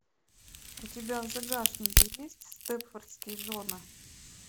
у тебя в загашнике есть степфордские жены